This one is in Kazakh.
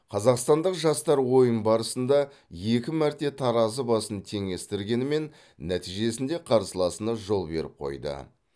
қазақстандық жастар ойын барысында екі мәрте таразы басын теңестіргенімен нәтижесінде қарсыласына жол беріп қойды